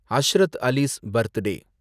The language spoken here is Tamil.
ஹஸ்ரத் அலி'ஸ் பர்த்டே